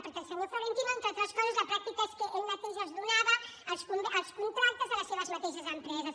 perquè el senyor florentino entre altres coses la pràctica és que ell mateix donava els contractes a les seves mateixes empreses